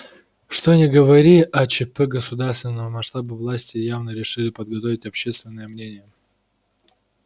что ни говори а чп государственного масштаба власти явно решили подготовить общественное мнение